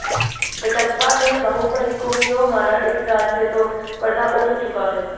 कटप्पा ने बाहुबली को क्यों मारा इस राज से तो पर्दा उठ चुका है